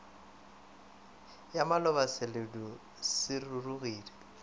ya maloba seledu se rurugile